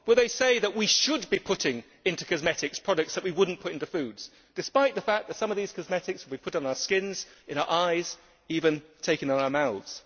Will they say what we should be putting into cosmetics, products that we would not put into foods, despite the fact that some of these cosmetics we put on our skins, in our eyes, even taking in our mouths?